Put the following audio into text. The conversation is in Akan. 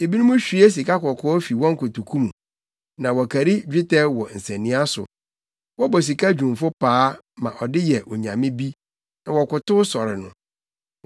Ebinom hwie sikakɔkɔɔ fi wɔn nkotoku mu na wɔkari dwetɛ wɔ nsania so; wɔbɔ sika dwumfo paa, ma ɔde yɛ onyame bi, na wɔkotow sɔre no.